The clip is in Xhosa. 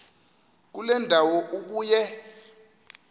kule ndawo ubuye